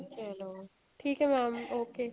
ਚਲੋ ਠੀਕ ਏ mam okay